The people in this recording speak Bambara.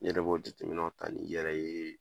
I yɛrɛ b'o jateminɛw ta ni yɛrɛ ye